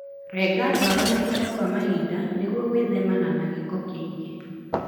Renga ndwara mahinda kwa mahinda nĩguo gwĩthema na gĩko kĩingĩ.